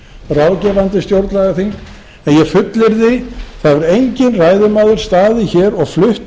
ráðgefandi stjórnlagaþing en ég fullyrði að það hefur enginn ræðumaður staðið hér og flutt